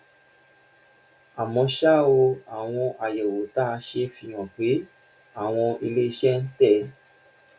àmọ́ ṣá o àwọn àyẹ̀wò tá a ṣe fi hàn pé àwọn ilé iṣẹ́ ń tẹ̀